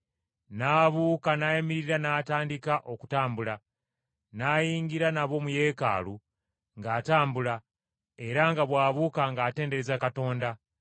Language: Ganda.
n’abuuka n’ayimirira n’atandika okutambula! N’ayingira nabo mu Yeekaalu ng’atambula era nga bw’abuuka ng’atendereza Katonda.